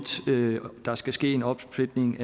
der skal ske en opsplitning